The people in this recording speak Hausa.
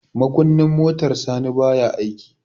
makunnin motar sani baya aiki